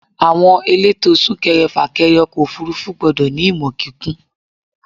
Àwọn elétò súnkẹrẹ fà kẹrẹ ọkọ̀ òfúrúfú gbọ́dọ̀ ní ìmọ̀ kíkún.